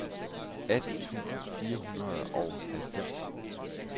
atten tusind fire hundrede og halvfems